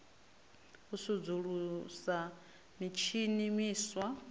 u sudzulusa mitshini miswa na